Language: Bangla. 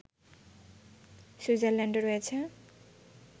সুইজারল্যান্ডও রয়েছে